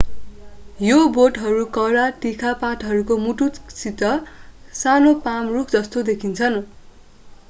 यी बोटहरू कडा तिखा पातहरूको मुकुटसहित सानो पाम रूख जस्ता देखिन्छन्